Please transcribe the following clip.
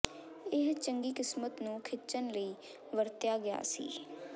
ਇਹ ਚੰਗੀ ਕਿਸਮਤ ਨੂੰ ਖਿੱਚਣ ਲਈ ਵਰਤਿਆ ਗਿਆ ਸੀ